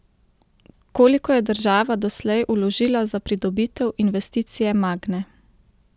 Koliko je država doslej vložila za pridobitev investicije Magne?